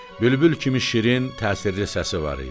Bülbül kimi şirin təsirli səsi var idi.